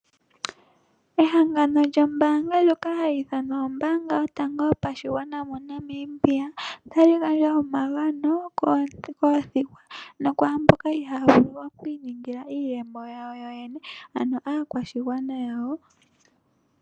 Ehangano lyoka hali i thanwa ombaanga yotango yopashigwana yomoNamibia otali gandja omagani koothigwa nokwaamboka ihaaya vulu okwiiningila iiyemo yawo yo yene.